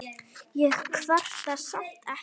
Ég kvarta samt ekki.